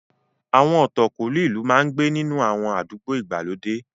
Àwọn ọ̀tọ̀kúlú ìlú máa ń gbé inú àwọn àdúgbò ìgbàlódé.